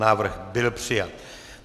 Návrh byl přijat.